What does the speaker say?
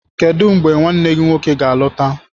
Kedu mgbe nwanne gị nwoke ga-alọta?